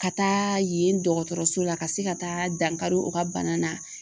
Ka taa yen dɔgɔtɔrɔso la ka se ka taa dankari u ka bana na